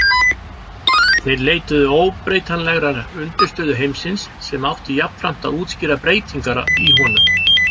Þeir leituðu óbreytanlegrar undirstöðu heimsins sem átti jafnframt að útskýra breytingar í honum.